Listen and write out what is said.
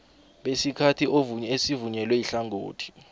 besikhathi esivunyelwe ihlangothi